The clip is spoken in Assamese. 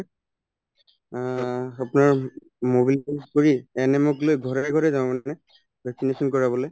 অহ্ আপোনাৰ কৰি ANM ক লৈ ঘৰে ঘৰে যাওঁ মানে vaccination কৰাবলে